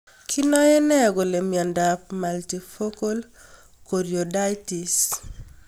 Kinae nee kole miondop multifocal choroiditis?